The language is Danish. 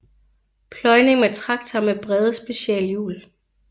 Pløjning med traktor med brede specialhjul